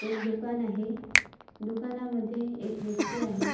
एक दुकान आहे दुकानामध्ये एक व्यक्ति आहे.